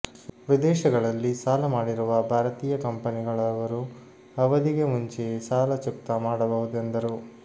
ವಿದೇಶಗಳಲ್ಲಿ ಸಾಲ ಮಾಡಿರುವ ಭಾರತೀಯ ಕಂಪನಿಗಳವರು ಅವಧಿಗೆ ಮುಂಚೆಯೇ ಸಾಲ ಚುಕ್ತಾ ಮಾಡಬಹುದೆಂದರು